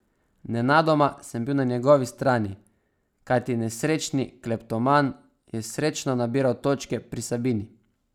Nenadoma sem bil na njegovi strani, kajti nesrečni kleptoman je srečno nabiral točke pri Sabini.